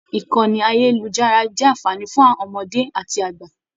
Ìkànnì ayelujara jẹ anfààní fún ọmọdé àti àgbà.